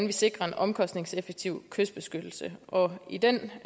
vi sikrer en omkostningseffektiv kystbeskyttelse i den